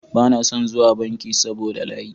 Bana son zuwa banki saboda layi.